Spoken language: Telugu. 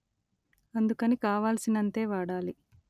అందుకని కావాల్సినంతే వాడాలి